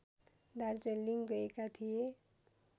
दार्जिलिङ गएका थिए